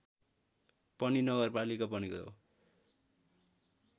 पनि नगरपालिका बनेको हो